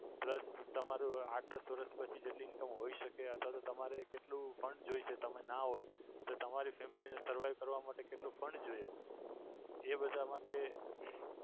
plus તમારું આઠક વર્ષ પછી જેટલી income હોય શકે અથવા તો તમારે કેટલું fund જોઈએ છે તમે ના હોય તો તમારી family ને survive કરવા માટે કેટલું fund જોઈએ એ બધા માટે